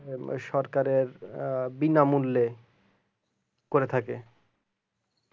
সরকারের বিনামূল করে থাকে